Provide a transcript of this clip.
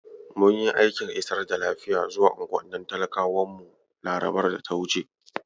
Mun yi aikin isar da lafiya zuwa unguwannin talakawan mu larabar da ta wuce.